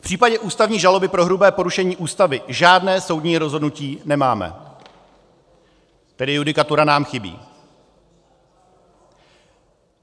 V případě ústavní žaloby pro hrubé porušení Ústavy žádné soudní rozhodnutí nemáme, tedy judikatura nám chybí.